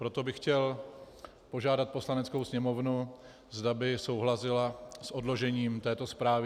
Proto bych chtěl požádat Poslaneckou sněmovnu, zda by souhlasila s odložením této zprávy.